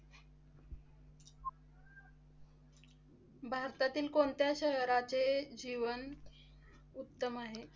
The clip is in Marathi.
भारतातील कोणत्या शहराचे जीवन उत्तम आहे?